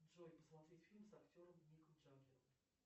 джой посмотреть фильм с актером миком джаггером